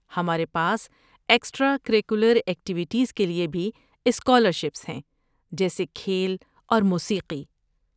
ہمارے پاس extra curricular activities کے لیے بھی اسکالرشپس ہیں، جیسے کھیل اور موسیقی۔